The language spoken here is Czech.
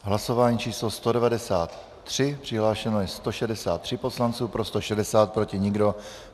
Hlasování číslo 193, přihlášeno je 163 poslanců, pro 160, proti nikdo.